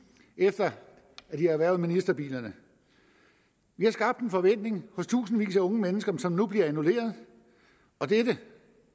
efter at de har erhvervet ministerbilerne vi har skabt en forventning hos tusindvis af unge mennesker som nu bliver annulleret og dette